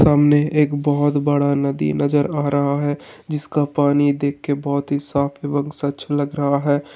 सामने एकबहोत बड़ा नदी नज़र आ रहा है जिसका पानी देख के बहोत ही साफ एवं स्वच्छ लग रहा है।